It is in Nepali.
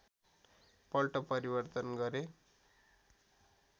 पल्ट परिवर्तन गरे